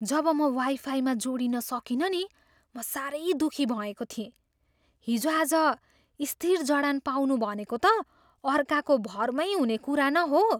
जब म वाइफाईमा जोडिन सकिनँ नि, म साह्रै दुःखी भएको थिएँ। हिजोआज, स्थिर जडान पाउनु भनेको त अर्काको भरमै हुने कुरा न हो।